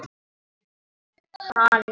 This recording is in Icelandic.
Ha nei.